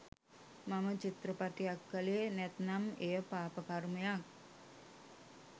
මම චිත්‍රපටයක්‌ කළේ නැත්නම් එය පාපකර්මයක්